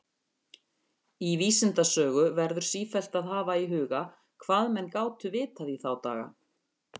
Í vísindasögu verður sífellt að hafa í huga, hvað menn gátu vitað í þá daga.